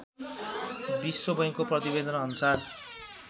विश्वबैंकको प्रतिवेदनअनुसार